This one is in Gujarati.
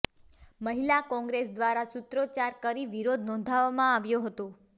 મહિલા કોંગ્રેસ દ્વારા સુત્રોચ્ચાર કરી વિરોધ નોંધાવવામાં આવ્યો હતો